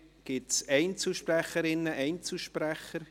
Gibt es Einzelsprecherinnen, Einzelsprecher?